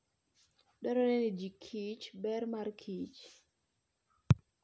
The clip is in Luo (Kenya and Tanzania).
Dwarore ni ji kich ber mar kich.